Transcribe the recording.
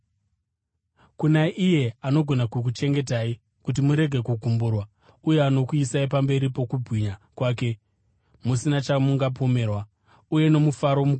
Kuna iye anogona kukuchengetai kuti murege kugumburwa uye anokuisai pamberi pokubwinya kwake musina chamunopomerwa, uye nomufaro mukuru,